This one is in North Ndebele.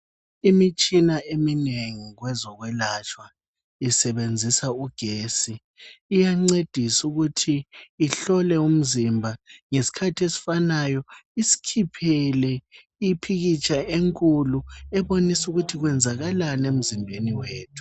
Imitshina eminengi kwezokwelatshwa isebenzisa ugetsi. Iyancedisa ukuthi ihlole umzimba ngesikhathi esifanayo isikhiphele ipikitsha enkulu ebonisa ukuthi kwenzakalani emzimbeni wethu.